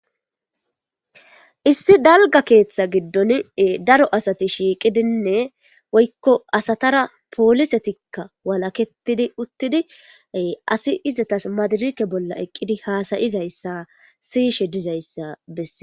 Issi dalga keeththa giddon daro asati shiiqidinne woykko asatara poolisetikka walaketidi uttidi asi izatas madirike bolla eqqidi haasayizayssa siyishe dizayssa bessee